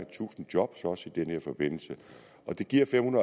tusind jobs også i den her forbindelse det giver fem